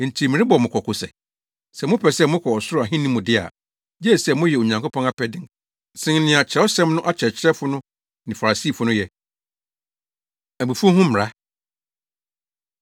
Enti merebɔ mo kɔkɔ sɛ, sɛ mopɛ sɛ mokɔ ɔsoro ahenni mu de a, gye sɛ moyɛ Onyankopɔn apɛde sen nea Kyerɛwsɛm no akyerɛkyerɛfo no ne Farisifo no yɛ. Abufuw Ho Mmara